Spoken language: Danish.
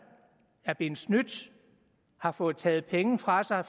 er blevet snydt har fået taget penge fra sig